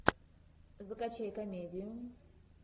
закачай комедию